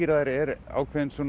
þær eru ákveðnar